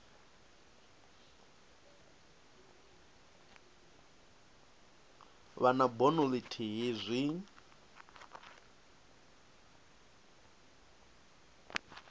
vha na bono ithihi zwi